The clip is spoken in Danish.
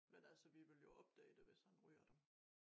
Men altså vi ville jo opdage det hvis han ryger dem